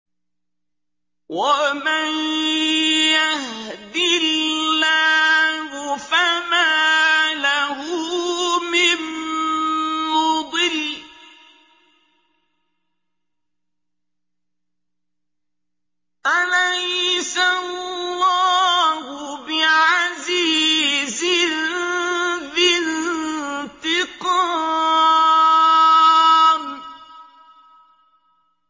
وَمَن يَهْدِ اللَّهُ فَمَا لَهُ مِن مُّضِلٍّ ۗ أَلَيْسَ اللَّهُ بِعَزِيزٍ ذِي انتِقَامٍ